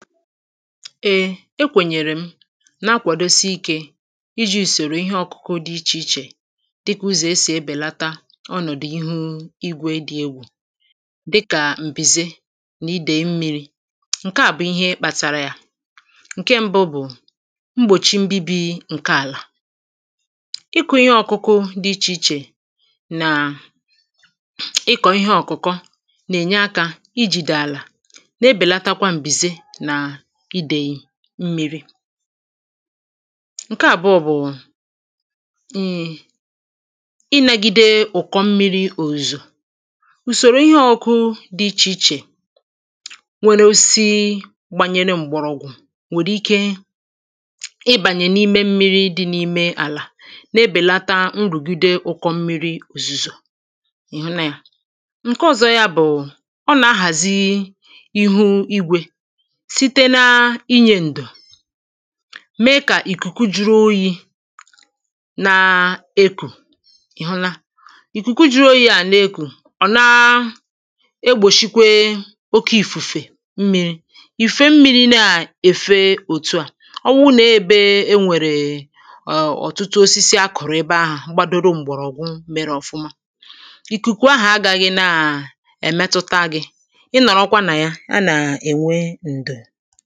Ée e kwènyèrè m na-akwàdosi ikė iji̇ ùsòrò ihe ọkụ̇kụ̇ dị ichè ichè dịkà ụzọ̀ esì ebèlata ọnọ̀dụ̀ ihu̇ igwė dị egwù dịkà m̀bìze na idèe mmi̇ri̇ ǹke à bụ̀ ihe kpàtàrà yȧ ǹke mbụ bụ̀ mgbòchi mbibi ǹke àlà ịkụ̇ ihe ọ̇kụ̇kụ̇ dị ichè ichè nà ịkọ̀ ihe ọ̀kụ̀kọ nà-ènye akȧ i jìdà àlà na-ebèlatakwa m̀bìze ǹke àbụọ bụ̀ ǹhiggbagide ụ̀kọ mmiri òzò ùsòrò ihe ọ̇kụ̇ dị ichè ichè nwèrè osisi gbànyèrè m̀gbọ̀rọ̀gwụ̀ nwèrè ike ịbànyè n’ime mmiri dị n’ime àlà n’ebèlata nrùgide ụkọ̇ mmiri òzùzò ǹke ọ̀zọ ya bụ̀ ọ nà-ahàzi mèe kà ìkùkù juru oyi̇ na-ekù ị̀hụla ìkùkù juru oyi̇ à n’ekù ọ̀ naa egbòshịkwe oke ìfùfè mmiri̇ ìfè mmiri̇ na-èfe òtu à ọ wụ nà ebe e nwèrè ọ̀tụtụ osisi akọ̀rọ̀ ebe ahụ̀ gbadoro m̀gbọ̀rọ̀gwụ mere ọ̀fụma ìkùkù ahà agȧghị̇ na-èmetuta gị̇ ị nọ̀rọ̀kwa nà ya a nà-ènwe ǹdò foto